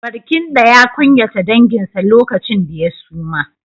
Barkindo ya kunyata danginsa lokacin da ya suma.